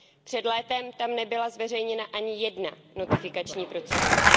Před létem tam nebyla zveřejněna ani jedna notifikační procedura.